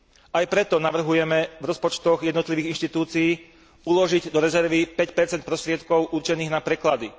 Aj preto navrhujeme v rozpočtoch jednotlivých inštitúcií uložiť do rezervy 5 prostriedkov určených na preklady.